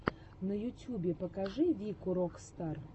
на ютюбе покажи вику рок стар